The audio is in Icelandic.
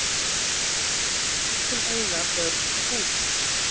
Þeir sem eiga börn og bú